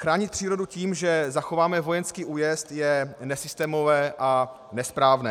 Chránit přírodu tím, že zachováme vojenský újezd, je nesystémové a nesprávné.